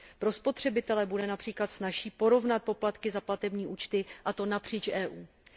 Pro spotřebitele bude například snazší porovnat poplatky za platební účty, a to napříč Evropskou unií.